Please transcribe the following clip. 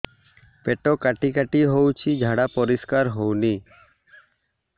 ପେଟ କାଟି କାଟି ହଉଚି ଝାଡା ପରିସ୍କାର ହଉନି